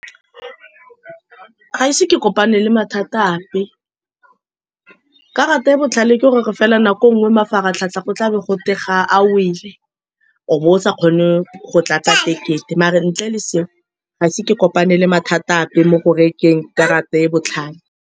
Ga ise ke kopane le mathata ape. Karata e e botlhale ke gore fela, nako e nngwe mafaratlhatlha go tlabe gote ga a wele, o bo o sa kgone go tlatsa ticket-e. Mara, ntle le seo, ga ise ke kopane le mathata ape mo go rekeng karata e e botlhale.